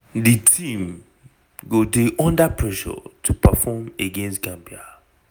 di team go dey under pressure to perform against gambia.